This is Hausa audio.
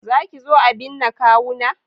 Za ki zo a binne kawuna?